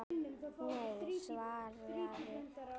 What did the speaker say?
Nei, svaraði ég.